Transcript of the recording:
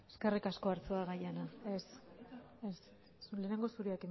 eskerrik asko arzuaga jauna ez ez lehenengo zurearekin